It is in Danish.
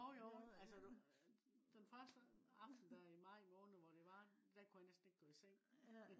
jo jo. den første aften der i maj måned hvor det var der kunne jeg næsten ikke gå i seng